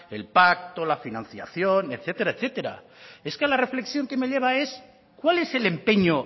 el pacto la financiación etcétera etcétera es que la reflexión que me lleva es cuál es el empeño